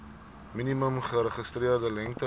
minimum geregistreerde lengte